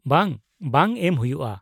ᱼᱵᱟᱝ, ᱵᱟᱝ ᱮᱢ ᱦᱩᱭᱩᱜᱼᱟ ᱾